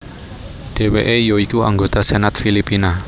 Dheweke ya iku anggota Senat Filipina